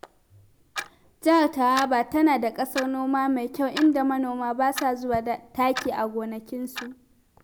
Jihar Taraba tana da ƙasar noma mai kyau, inda manoma ba sa zuba taki a gonakinsu.